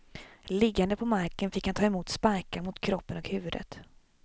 Liggande på marken fick han ta emot sparkar mot kroppen och huvudet.